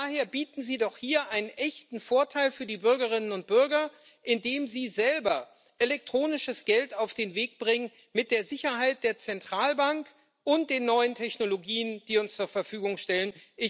Daher bieten Sie doch hier einen echten Vorteil für die Bürgerinnen und Bürger, indem Sie selber elektronisches Geld auf den Weg bringen, mit der Sicherheit der Zentralbank und den neuen Technologien, die uns zur Verfügung stehen.